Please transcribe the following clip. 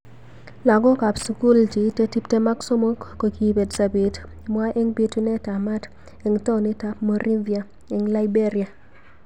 Lakakok ab sukul cheitei tip tem ak somok kokibet sabet nwa eng bitunet ab maat eng taonit ab Monrivia eng Liberia.